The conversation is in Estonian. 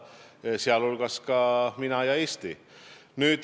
Ka mina ütlesin seda Eesti nimel.